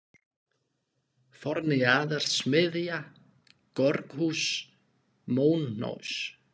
Forni-Jaðar, Smiðja, Georgshús, Móhnaus